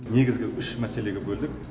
негізгі үш мәселеге бөлдік